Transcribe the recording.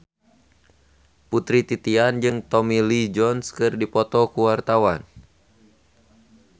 Putri Titian jeung Tommy Lee Jones keur dipoto ku wartawan